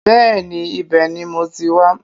Bẹ́ẹ̀ni ibẹ̀ ni mo ti wá